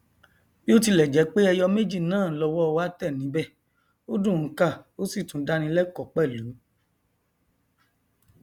bíotilẹjẹpé ẹyọ méjì náà lọwọ wà tẹ níbẹ ó dùn ún kà ó sì tún dáni lẹkọọ pẹlú